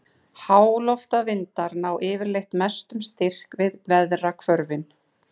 Háloftavindar ná yfirleitt mestum styrk við veðrahvörfin.